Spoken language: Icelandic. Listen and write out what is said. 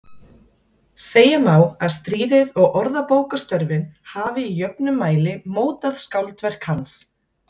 Segja má að stríðið og orðabókarstörfin hafi í jöfnum mæli mótað skáldverk hans.